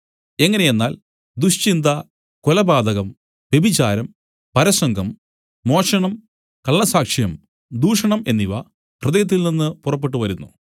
എങ്ങനെയെന്നാൽ ദുശ്ചിന്ത കൊലപാതകം വ്യഭിചാരം പരസംഗം മോഷണം കള്ളസാക്ഷ്യം ദൂഷണം എന്നിവ ഹൃദയത്തിൽ നിന്നു പുറപ്പെട്ടുവരുന്നു